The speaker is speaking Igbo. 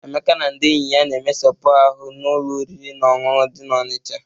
Emeka na ndị enyi ya na-emesepu ahụ n'ụlọ oriri na ọṅụṅụ dị n'Ọnịcha..